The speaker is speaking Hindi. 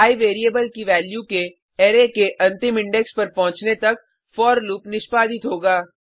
आई वेरिएबल की वैल्यू के अरै के अंतिम इंडेक्स पर पहुँचने तक फोर लूप निष्पादित होगा